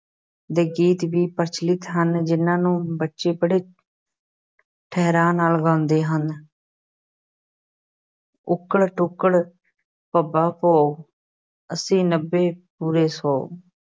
ਦੇ ਗੀਤ ਵੀ ਪ੍ਰਚਲਿਤ ਹਨ ਜਿਨ੍ਹਾਂ ਨੂੰ ਬੱਚੇ ਬੜੇ ਠਹਿਰਾਅ ਨਾਲ ਗਾਉਂਦੇ ਹਨ ਉੱਕੜ-ਦੁੱਕੜ ਭੰਬਾ ਭੌ ਅੱਸੀ ਨੱਬੇ ਪੂਰਾ ਸੌ